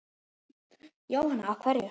Jóhanna: Af hverju?